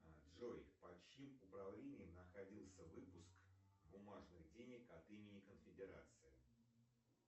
джой под чьим управлением находился выпуск бумажных денег от имени конфедерации